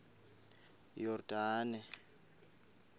yordane